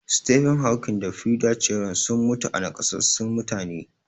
Stephen Hawking da Frida Cheron sun mutu a nakasassun mutane.